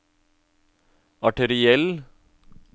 arteriell